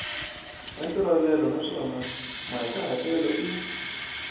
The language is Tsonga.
ya ntolovelo naswona mahikahatelo i